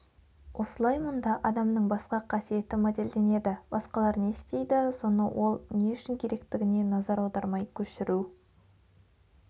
осылай мұнда адамның басқа қасиеті моделденеді басқалар не істейді соны ол не үшін керектігіне назар аудармай көшіру